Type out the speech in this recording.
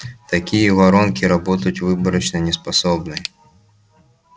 такие воронки работать выборочно не способны